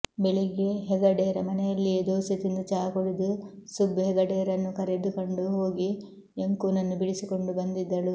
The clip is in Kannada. ಬೆಳಿಗ್ಗೆ ಹೆಗಡೇರ ಮನೆಯಲ್ಲಿಯೇ ದೋಸೆ ತಿಂದು ಚಹ ಕುಡಿದು ಸುಬ್ ಹೆಗಡೇರನ್ನು ಕರೆದುಕೊಂಡು ಹೋಗಿ ಯಂಕೂನನ್ನು ಬಿಡಿಸಿಕೊಂಡು ಬಂದಿದ್ದಳು